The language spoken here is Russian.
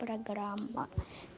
программа